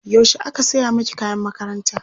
yaushe aka saya maki kayan makaranta?